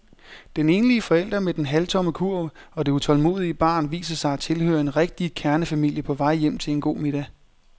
Den enlige forælder med den halvtomme kurv og det utålmodige barn viser sig at tilhøre en rigtig kernefamilie på vej hjem til en god middag.